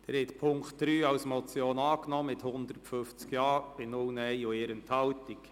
Sie haben Punkt 3 als Motion angenommen, mit 150 Ja- bei 0 Nein-Stimmen und 1 Enthaltung.